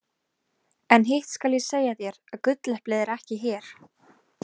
En hitt skal ég segja þér að gulleplið er ekki hér.